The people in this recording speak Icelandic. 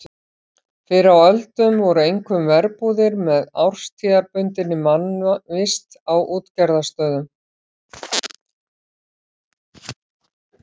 Fyrr á öldum voru einkum verbúðir með árstíðabundinni mannvist á útgerðarstöðum.